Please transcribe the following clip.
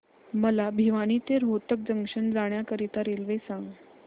मला भिवानी ते रोहतक जंक्शन जाण्या करीता रेल्वे सांगा